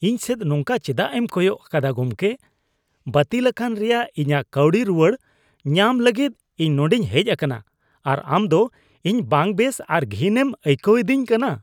ᱤᱧ ᱥᱮᱫ ᱱᱚᱝᱠᱟ ᱪᱮᱫᱟᱜ ᱮᱢ ᱠᱚᱭᱚᱜ ᱟᱠᱟᱫᱟ ᱜᱚᱢᱠᱮ ? ᱵᱟᱹᱛᱤᱞ ᱟᱠᱟᱱ ᱨᱮᱭᱟᱜ ᱤᱧᱟᱜ ᱠᱟᱹᱣᱰᱤ ᱨᱩᱣᱟᱹᱲ ᱧᱟᱢ ᱞᱟᱹᱜᱤᱫ ᱤᱧ ᱱᱚᱰᱮᱧ ᱦᱮᱡ ᱟᱠᱟᱱᱟ ᱟᱨ ᱟᱢ ᱫᱚ ᱤᱧ ᱵᱟᱝᱵᱮᱥ ᱟᱨ ᱜᱷᱤᱱ ᱮᱢ ᱟᱹᱭᱠᱟᱹᱣ ᱮᱫᱤᱧ ᱠᱟᱱᱟ ᱾